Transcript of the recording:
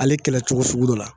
Ale kɛlɛcogo sugu dɔ la.